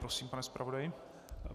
Prosím, pane zpravodaji.